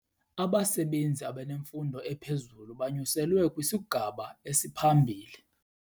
Abasebenzi abanemfundo ephezulu banyuselwe kwisigaba esiphambili.